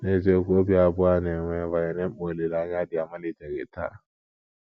N’eziokwu, obi abụọ a na - enwe banyere mkpa olileanya dị amaliteghị taa.